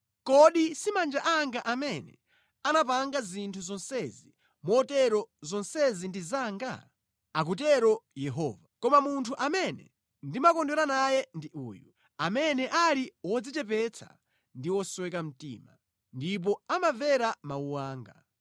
Kodi si manja anga amene anapanga zinthu zonsezi, motero zonsezi ndi zanga?” Akutero Yehova. “Koma munthu amene ndimakondwera naye ndi uyu: amene ali wodzichepetsa ndi wosweka mtima, ndipo amamvera mawu anga.